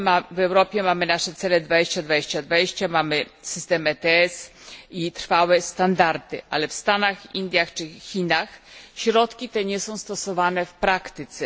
W Europie mamy nasze cele 2020, mamy system ETS i trwałe standardy, ale w Stanach, Indiach czy Chinach środki te nie są stosowane w praktyce.